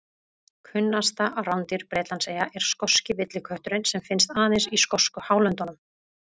Kunnasta rándýr Bretlandseyja er skoski villikötturinn sem finnst aðeins í skosku hálöndunum.